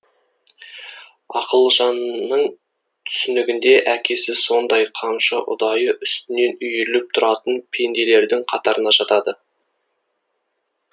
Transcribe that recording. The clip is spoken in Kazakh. ақылжанның түсінігінде әкесі сондай қамшы ұдайы үстінен үйіріліп тұратын пенделердің қатарына жатады